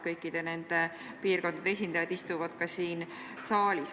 Kõikide nende piirkondade esindajad istuvad ka siin saalis.